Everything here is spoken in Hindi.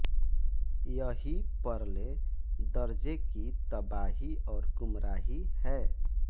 यही परले दर्जे की तबाही और गुमराही है